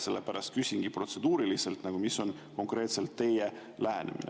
Sellepärast küsingi protseduuriliselt, milline on konkreetselt teie lähenemine.